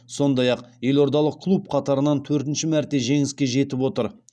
сондай ақ елордалық клуб қатарынан төртінші мәрте жеңіске жетіп отыр